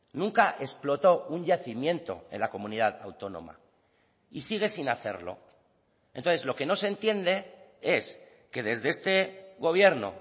nunca explotó un yacimiento en la comunidad autónoma y sigue sin hacerlo entonces lo que no se entiende es que desde este gobierno